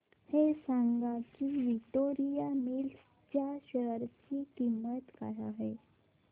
हे सांगा की विक्टोरिया मिल्स च्या शेअर ची किंमत काय आहे